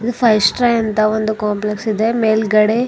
Five star ಅಂತ ಒಂದು complex ಇದೆ ಮೇಲ್ಗಡೆ.